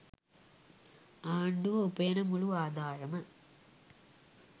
ආණ්ඩුව උපයන මුළු ආදායම